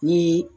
Ni